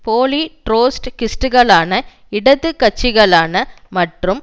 போலி ட்ரொட்ஸ்கிஸ்டுகளான இடது கட்சிகளான மற்றும்